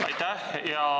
Aitäh!